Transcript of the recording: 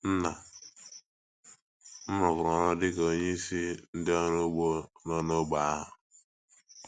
Nna m rụkwara ọrụ dị ka onyeisi onyeisi ndị ọrụ ugbo nọ n’ógbè ahụ.